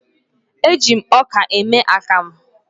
E ji ọka eme akamụ.